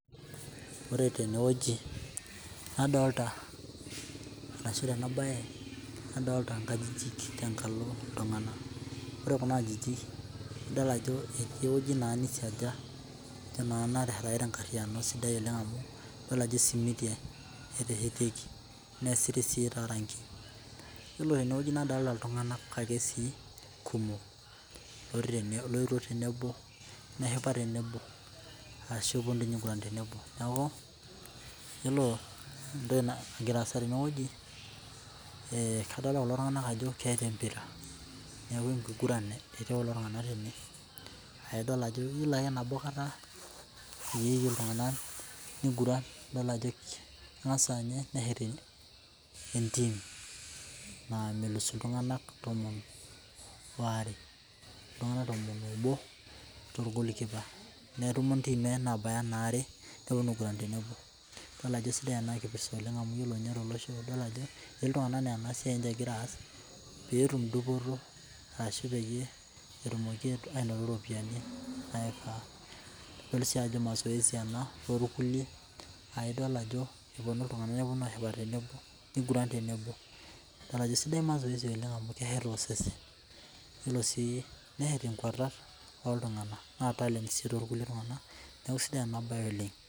Ore tenewueji nadolta enabae nadolta nkajijik tenkalo ltunganak ore kuna ajijik nidol ajo etii ewoi naisiaja ajo na nateshetaki tenkarinao sapuk oleng idol ajo esimiti eteshetieki yiolo tenewueji nadolta ltunganak ake kumok ooetuo tenebo neshipa tenebo ashu tinye eponu aiguran tenebo yiolo entokinagira asa tenewueji na kadolta kulo tunganak ajo keeta empira neaku enkigura etii kulo tunganak tene yiolo ake nabo kata peyieu ltunganak niguran kengasa nye neshet entim na melus ltunganak tomon aare ltunganak tomon obo torgolikipa netumo ntimi nabaya are neponu aiguran tenebo idol ajo kesidai enakipirta tolosho amu idol ajoetii ltunganak naa enasiai ninche egira aasa petum dupoto ashu peyie petumoki ainoto ropiyani naifaa idol si ajo masoesi ena orkulie aidol ajo eponu ltunganak neponu ashipa tenebo niguran tenebo idol ajo sidai masoesi oleng amu elak osesen nelo si neaki nkeatak oltunganak na talent si neaku sidai enabae oleng